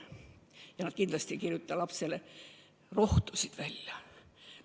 Ja nad kindlasti ei kirjuta lapsele rohtusid välja.